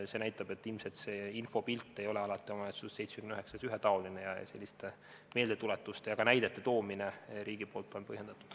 See näitab, et ilmselt see infopilt ei ole alati omavalitsustes – 79 omavalitsuses – ühetaoline ning selliste meeldetuletuste ja ka näidete toomine riigi poolt on põhjendatud.